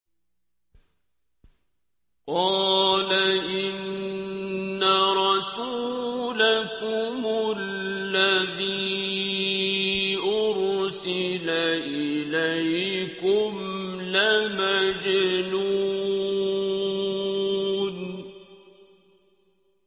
قَالَ إِنَّ رَسُولَكُمُ الَّذِي أُرْسِلَ إِلَيْكُمْ لَمَجْنُونٌ